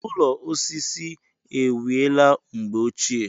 Ụlọ osisi e wiela mgbe ochie.